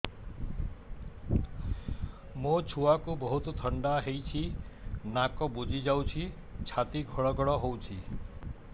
ମୋ ଛୁଆକୁ ବହୁତ ଥଣ୍ଡା ହେଇଚି ନାକ ବୁଜି ଯାଉଛି ଛାତି ଘଡ ଘଡ ହଉଚି